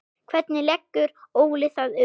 Hvernig leggur Óli það upp?